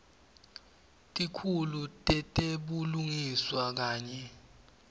tikhulu tetebulungiswa kanye